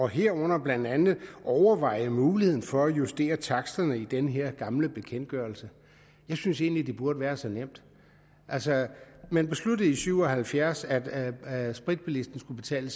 herunder blandt andet overveje muligheden for at justere taksterne i den her gamle bekendtgørelse jeg synes egentlig det burde være så nemt altså man besluttede i nitten syv og halvfjerds at at spritbilisten skulle betale